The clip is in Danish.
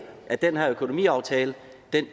at den her økonomiaftale